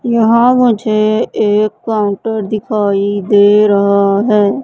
यहां मुझे एक काउंटर दिखाई दे रहा है।